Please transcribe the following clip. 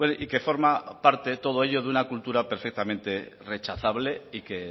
y que forma parte todo ello de una cultura perfectamente rechazable y que